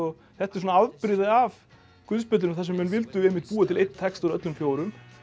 þetta er svona afbrigði af guðspjöllunum þar sem menn vildu einmitt búa til einn texta úr öllum fjórum